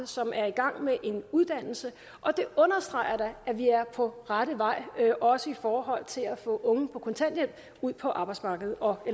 som er i gang med en uddannelse og det understreger da at vi er på rette vej også i forhold til at få unge på kontanthjælp ud på arbejdsmarkedet og